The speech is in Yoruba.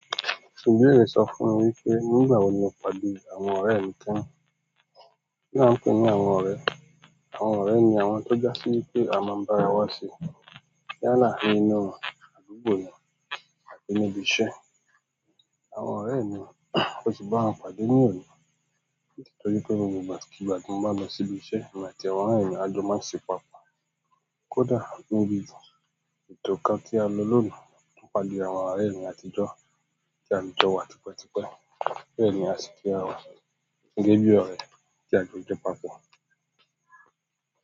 Ìbéèrè sọ fún mi wípé nígbà wo ni mo pàdé àwọn ọ̀rẹ́ rẹ̀ mí ti. Kínní a n pè ní àwọn ọ̀rẹ́, àwọn ọ̀rẹ́ ni àwọn tó ja sí wípé a máa n bá ara wa ṣe, yálà nínú àdúgbò ni àbí ní ibi iṣẹ́. Àwọn ọ̀rẹ́ mi mó si bá wọn pàdé ní òní, ni ti tó wí pé gbogbo ìgbà kígbà ti mo báa lọ sí ibi iṣẹ́, èmi àti àwọn náà ni a jọ máa n se papọ̀. Kódà níbí tó, ètò kan tí a lọ lòní, mo pàdé àwọn ọ̀rẹ́ mí àtijọ́ tí a ti jọ wà tipẹ́tipẹ́, bẹ́ẹ̀ni a si kí ara wa, gégébí ọrẹ tí a jọ jẹ́ papọ̀.